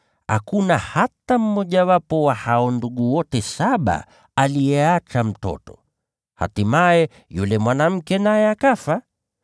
Hakuna hata mmojawapo wa hao ndugu wote saba aliyeacha mtoto. Hatimaye yule mwanamke naye akafa.